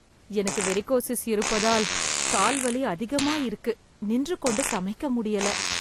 எனக்கு வெறிகொசிஸ் இருப்பதால் கால் வலி அதிகமா இருக்கு நின்றுகொண்டு சமைக்க முடியலை